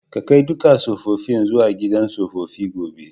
Ka kai dukan sofofin zuwa gidan sofofi gobe!